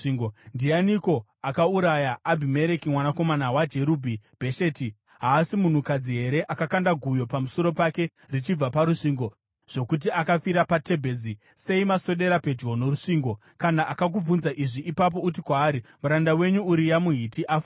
Ndianiko akauraya Abhimereki mwanakomana waJerubhi-Bhesheti? Haasi munhukadzi here akakanda guyo pamusoro pake richibva parusvingo, zvokuti akafira paTebhezi? Sei maswedera pedyo norusvingo?’ Kana akakubvunza izvi, ipapo uti kwaari, ‘Muranda wenyu Uria muHiti afawo.’ ”